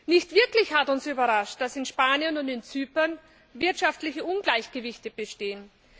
Nicht wirklich hat uns überrascht, dass in Spanien und in Zypern wirtschaftliche Ungleichgewichte bestehen.